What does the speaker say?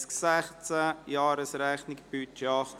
] [und] Jahresrechnung 2016;